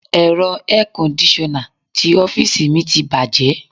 Ẹ̀rọ air kondisona ti ọ́fíìsì mi ti bàjẹ́.